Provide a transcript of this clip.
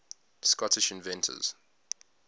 scottish inventors